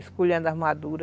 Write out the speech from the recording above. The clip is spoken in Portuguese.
Escolhendo a madura.